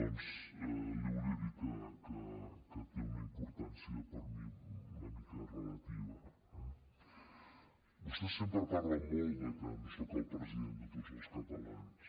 doncs li volia dir que té una importància per mi una mica relativa eh vostès sempre parlen molt de que no soc el president de tots els catalans